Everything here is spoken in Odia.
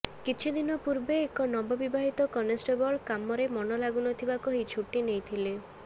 କିଛି ଦିନ ପୂର୍ବେ ଏକ ନବବିବାହିତ କନେଷ୍ଟବଳ କାମରେ ମନ ଲାଗୁନଥିବା କହି ଛୁଟି ନେଇଥିଲେ